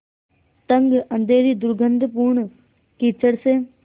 तंग अँधेरी दुर्गन्धपूर्ण कीचड़ से